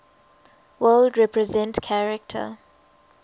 world represent character